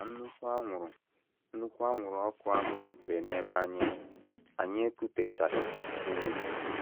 Ka nnukwu anwụrụ nnukwu anwụrụ ọkụ ahụ rutere n’ebe anyị nọ, anyị ekutechaghịzi ume.